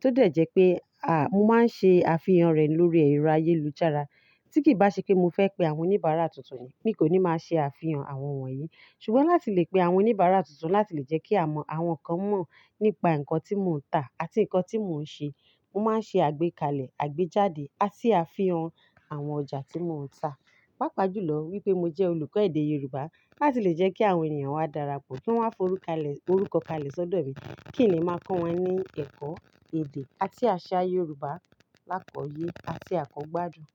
tó dẹ̀ jẹ́ pé à mo máa ń ṣe àfihàn rẹ̀ lórí ẹ̀rọ ayélujára. Tí kìí bá ṣe pé mo fẹ́ pe àwọn oníbàárà tuntun yẹn mii kò ní máa ṣe àfihàn àwọn wonyìí. Ṣùgbọ́n láti lè pe àwọn oníbàárà tuntun láti lè jẹ́ kí àwọn kan mọ̀ nípa ǹkan tí mo ń tà àti ǹkan tí mo ń ṣe. Mo máa ń ṣe àgbékalẹ̀, àgbéjáde àti àfihàn àwọn ọjà tí mo ń tà. Paápá jù lọ wípé mo jẹ́ olùkọ́ èdè Yorùbá láti lè jẹ́ kí àwọn ènìyàn wá darapọ̀ kí wọ́n wá forúkalẹ̀ forúkọ kalẹ̀ sódò mi. Kí n le máa kọ́ wọn ní ẹ̀kọ́ èdè àti àṣà Yorùbá lákòye àti àkọgbádun.